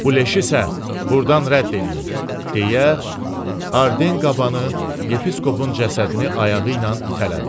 Bu leşi isə burdan rədd eləyin, deyə Arden qabanı Yepiskopun cəsədini ayağı ilə itələdi.